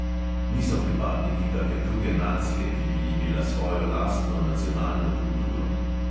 Niso pripadniki kake druge nacije, ki bi imela svojo lastno nacionalno kulturo.